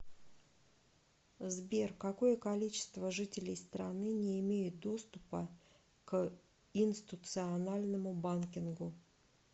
сбер какое количество жителей страны не имеют доступа к инстуциональному банкингу